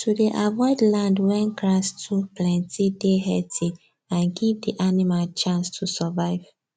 to dey avoid land wen grass too plenty dey heathy and give the animal chance to survive